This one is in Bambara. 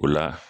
O la